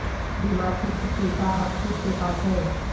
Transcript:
بیمار کی چھٹی کا حق کس کے پاس ہے